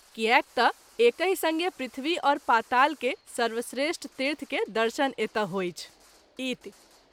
कियाक त’ एकहि संगे पृथ्वी और पाताल के सर्वश्रेष्ठ तीर्थ के दर्शन एतय होइछ। इति